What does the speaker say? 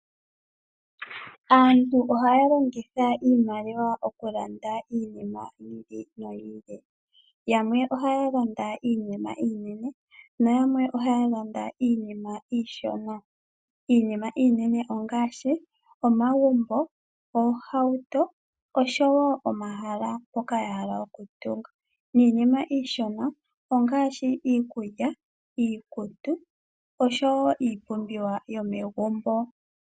Aantu ohaya longitha iimaliwa okulanda iinima yi ili noyi ili, yamwe ohaya landa iinima iinene nayamwe ohaya landa iinima iishona. Iinima iinene ongaashi omagumbo, oohauto osho wo omahala mpoka ya hala okutunga niinima iishona ongaashi iikulya, iikutu osho wo iipumbiwa yomegumbo.